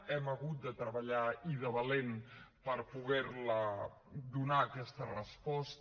hem hagut de treballar i de valent per poder donar aquesta resposta